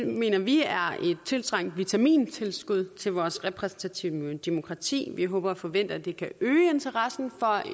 mener vi er et tiltrængt vitamintilskud til vores repræsentative demokrati vi håber og forventer at det kan øge interessen for